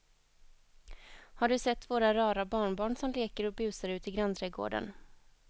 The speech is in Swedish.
Har du sett våra rara barnbarn som leker och busar ute i grannträdgården!